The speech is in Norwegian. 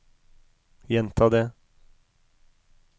gjenta det